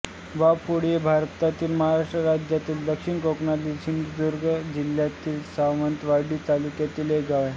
वाफोळी हे भारतातील महाराष्ट्र राज्यातील दक्षिण कोकणातील सिंधुदुर्ग जिल्ह्यातील सावंतवाडी तालुक्यातील एक गाव आहे